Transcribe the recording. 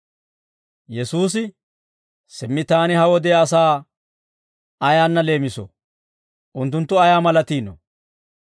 Yesuusi, «Simmi Taani ha wodiyaa asaa ayaanna leemisoo? Unttunttu ayaa malatiinoo?